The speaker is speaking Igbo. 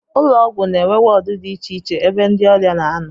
Ụlọọgwụ na-enwe wọọdụ dị icheiche ebe ndị ọrịa na-anọ